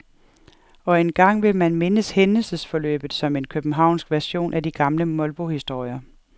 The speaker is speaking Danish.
Og engang vil man mindes hændelsesforløbet som en københavnsk version af de gamle molbohistorier.